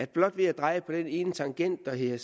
blot ved at dreje på den ene tangent der hedder